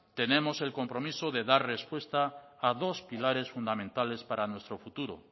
tenemos el compromiso de dar respuesta a dos pilares fundamentales para nuestro futuro